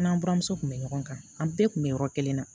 An n'an buramuso tun bɛ ɲɔgɔn kan an bɛɛ tun bɛ yɔrɔ kelen na